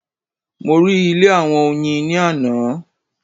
Mo rí ilé àwọn Oyin ni ààná